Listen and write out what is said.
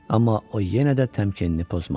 Amma o yenə də təmkinini pozmadı.